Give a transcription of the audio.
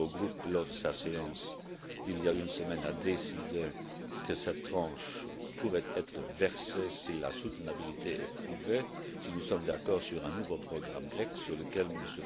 Grèce. L'Eurogroupe, lors de sa séance d'il y a une semaine, a décidé que cette tranche pourrait être versée si la soutenabilité est prouvée, si nous sommes d'accord sur un nouveau programme grec sur lequel